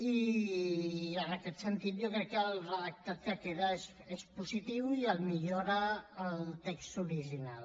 i en aquest sentit jo crec que el redactat que queda és positiu i millora el text original